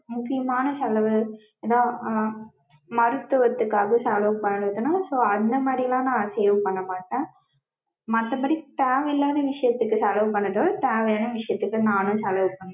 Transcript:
முக்கியமான செலவு தான் மருத்துவத்துக்காக செலவு பண்ணிக்கணும். so அந்த மாதிரிலாம் நா save பண்ண மாட்டேன். மத்த படி தேவ இல்லாத விஷயத்துக்கு செலவு பண்ணிடுவன் தேவையான விஷயத்துக்கு நானும் செலவு